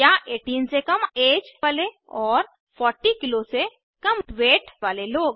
या 18 से कम ऐज वाले और 40 किग्रा से कम वेट वाले लोग